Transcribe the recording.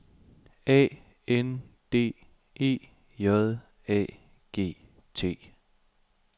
A N D E J A G T